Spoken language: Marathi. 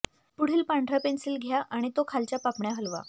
पुढील पांढरा पेन्सिल घ्या आणि तो खालच्या पापण्या हलवा